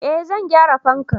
eh zan gyara fankan